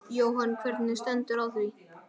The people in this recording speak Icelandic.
Jóhann: Hvernig stendur á því?